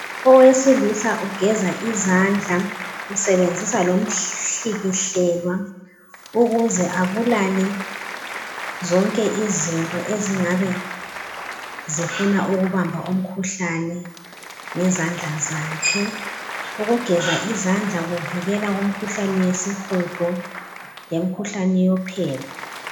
Owesilisa ugeza izandla usebenzisa lomhlikihlelwa ukuze abulale zonke izinto ezingabe zifuna ukubamba umkhuhlane ngezandla zakhe ukugeza izandla kuvikela imikhuhlane yesihudo lemikhuhlane yophepha.